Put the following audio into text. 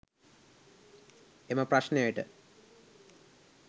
එම ප්‍රශ්නයට